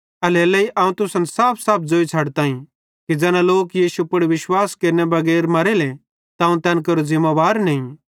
एल्हेरेलेइ अवं तुसन साफसाफ ज़ोई छ़डताईं कि ज़ैना लोक यीशु पुड़ विश्वास केरने बगैर मरेले त अवं तैन केरे ज़िमेबार नईं